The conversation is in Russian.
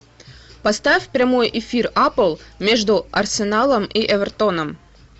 поставь прямой эфир апл между арсеналом и эвертоном